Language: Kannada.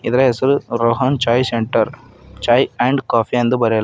ಇದರ ಹೆಸರು Rohan chai centre chai and coffee ಎಂದು ಬರೆಯಲಾ--